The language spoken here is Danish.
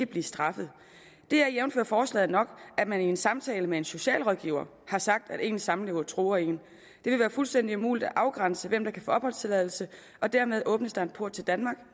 blive straffet det er jævnfør forslaget nok at man i en samtale med en socialrådgiver har sagt at ens samlever truer en det vil være fuldstændig umuligt at afgrænse hvem der kan få opholdstilladelse og dermed åbnes der en port til danmark